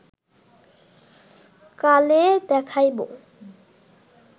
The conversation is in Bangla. কালে দেখাইব